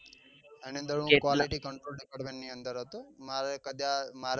એની અંદર હુ quality control department ની અંદર હતો મારે